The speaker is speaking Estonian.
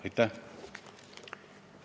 Aitäh!